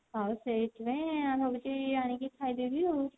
ହଁ ସେଇଥିପାଇଁ ଭାବୁଛି ଆଣିକି ଖାଇଦେବି ଆଉ